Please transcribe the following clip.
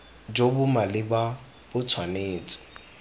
jo bo maleba bo tshwanetse